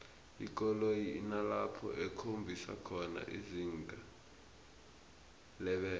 ikoloyi inalapho ikhombisa khona izinga lebelo